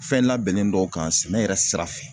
Fɛn labɛnnen dɔw kan sɛnɛ yɛrɛ sira fɛ